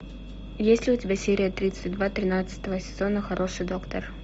есть ли у тебя серия тридцать два тринадцатого сезона хороший доктор